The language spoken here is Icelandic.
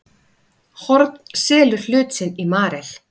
Horn selur hlut sinn í Marel